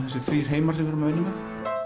þessir þrí heimar sem við erum að vinna með